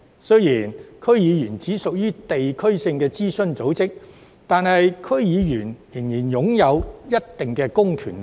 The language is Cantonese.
雖然區議會只屬地區性諮詢組織，但區議員仍然擁有一定的公權力。